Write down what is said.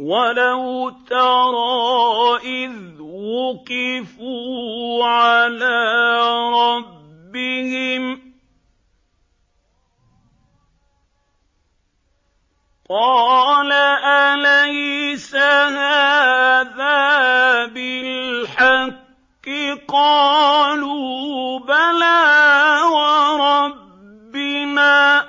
وَلَوْ تَرَىٰ إِذْ وُقِفُوا عَلَىٰ رَبِّهِمْ ۚ قَالَ أَلَيْسَ هَٰذَا بِالْحَقِّ ۚ قَالُوا بَلَىٰ وَرَبِّنَا ۚ